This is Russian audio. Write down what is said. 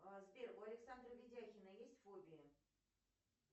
сбер у александра видяхина есть фобия